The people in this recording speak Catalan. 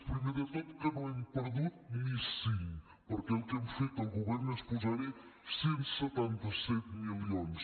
primer de tot que no hem perdut ni cinc perquè el que hem fet el govern és posar hi cent i setanta set milions